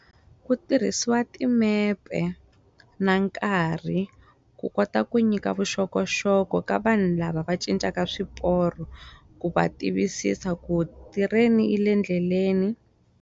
Ku tirhisiwa timepe na nkarhi ku kota ku nyika vuxokoxoko ka vanhu lava va cincaka swiporo ku va tivisisa ku tirheni yi le endleleni.